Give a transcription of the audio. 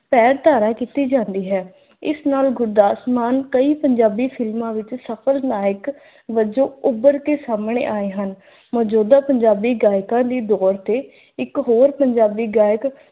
ਪੈਰ ਧਾਰਾ ਕੀਤੀ ਜਾਂਦੀ ਹੈ। ਇਸ ਨਾਲ ਗੁਰਦਾਸ ਮਾਨ ਕਈ ਪੰਜਾਬੀ ਫ਼ਿਲਮਾਂ ਵਿੱਚ ਸਫਲ ਨਾਇਕ ਵਜੋਂ ਉੱਭਰ ਕੇ ਸਾਮਣੇ ਆਏ ਹਨ। ਮੌਜੂਦਾ ਪੰਜਾਬੀ ਗਾਇਕਾਂ ਦੀ ਦੌੜ ਤੇ ਇੱਕ ਹੋਰ ਪੰਜਾਬੀ ਗਾਇਕ